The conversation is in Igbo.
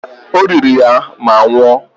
O riri ya ma nwụọ.